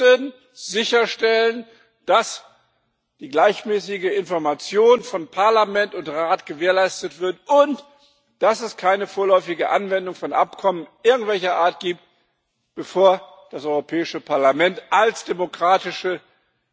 Wir müssen sicherstellen, dass die gleichmäßige Information von Parlament und Rat gewährleistet wird und dass es keine vorläufige Anwendung von Abkommen irgendwelcher Art gibt, bevor das Europäische Parlament als demokratisch